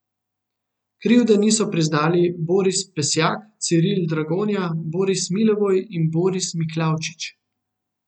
Krivde niso priznali Boris Pesjak, Ciril Dragonja, Boris Milevoj in Boris Miklavčič.